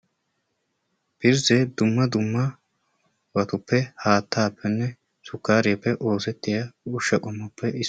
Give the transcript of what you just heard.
Birzzee dumma dummabatuppenne haattapene sukkariyappe oosettiya ushsha qommope issuwa.